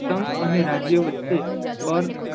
સંઘ અને રાજ્યો વચ્ચે કર